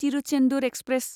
Thiruchendur express